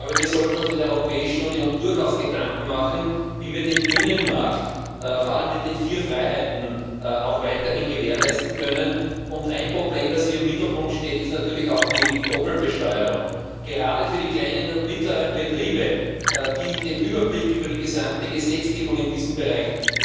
Wir sollten uns in der Europäischen Union durchaus Gedanken machen, wie wir den Binnenmarkt, vor allem mit den vier Freiheiten, auch weiterhin gewährleisten können. Ein Problem, das hier im Mittelpunkt steht, ist natürlich auch die Doppelbesteuerung. Gerade für die kleinen und mittleren Betriebe, die überhaupt keinen Überblick über die gesamte Gesetzgebung in diesem Bereich